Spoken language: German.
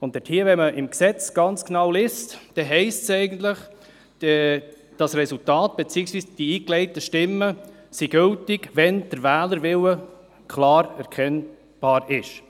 Wenn man im Gesetz ganz genau nachliest, heisst es eigentlich, das Resultat beziehungsweise die eingelegten Stimmen seien gültig, wenn der Wählerwille klar erkennbar sei.